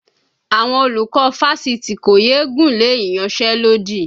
Àwọn olùkọ́ fásitì kò yé gùnlé ìyanṣẹ́lódì